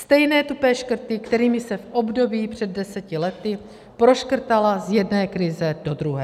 Stejné tupé škrty, kterými se v období před deseti lety proškrtala z jedné krize do druhé.